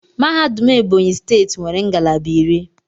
Mahadum Ebonyi steeti nwere ngalaba iri.